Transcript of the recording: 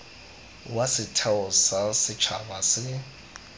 wa setheo sa setšhaba se